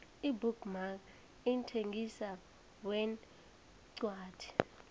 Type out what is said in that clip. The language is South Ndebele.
ibook mark mthengisi wencwadi